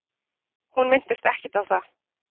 Hún minntist ekkert á það.